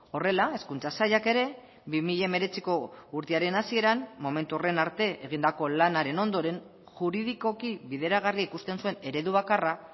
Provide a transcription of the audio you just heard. horrela hezkuntza sailak ere bi mila hemeretziko urtearen hasieran momentu horren arte egindako lanaren ondoren juridikoki bideragarri ikusten zuen eredu bakarra